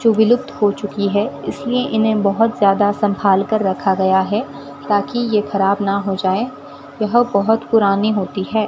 तो विलुप्त हो चुकी है इसलिए इन्हें बहुत ज्यादा संभाल कर रखा गया है ताकि ये खराब ना हो जाए यह बहोत पुरानी होती है।